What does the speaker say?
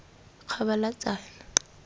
kgabalatsane